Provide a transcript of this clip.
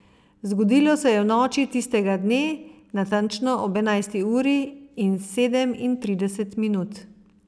Zgodilo se je v noči tistega dne, natančno ob enajsti uri in sedemintrideset minut.